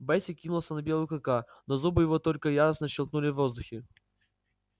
бэсик кинулся на белого клыка но зубы его только яростно щёлкнули в воздухе